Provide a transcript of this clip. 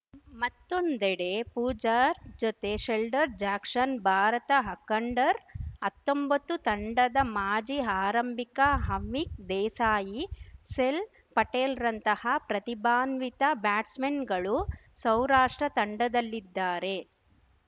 ಮತ್ತೊಂದೆಡೆ ಪೂಜಾರ್ ಜೊತೆ Sheldon Jackson Bharat ಹಕಂಡರ್ಅತ್ತೊಂಬತ್ತು ತಂಡದ ಮಾಜಿ ಆರಂಭಿಕ ಹಾವಿಕ್‌ ದೇಸಾಯಿ ಸೆಲ್‌ ಪಟೇಲ್‌ರಂತಹ ಪ್ರತಿಭಾನ್ವಿತ ಬ್ಯಾಟ್ಸ್‌ಮನ್‌ಗಳು ಸೌರಾಷ್ಟ್ರ ತಂಡದಲ್ಲಿದ್ದಾರೆ